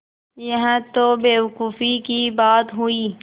यह तो बेवकूफ़ी की बात हुई